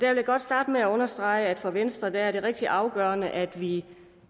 vil jeg godt starte med at understrege at det for venstre er rigtig afgørende at vi